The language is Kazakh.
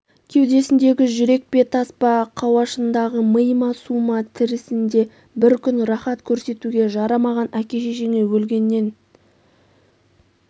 кеудесіндегі жүрек пе тас па қауашағындағы ми ма су ма тірісінде бір күн рахат көрсетуге жарамаған әке-шешеңе өлгеннен